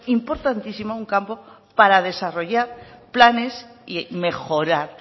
importantísimo un campo para desarrollar planes y mejorar